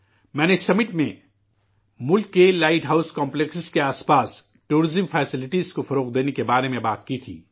میں نے اس سمٹ میں ملک کے لائٹ ہاؤس کمپلیکس کے آس پاس سیاحت کی سہولتیں فروغ دینے کے بارے میں بات کی تھی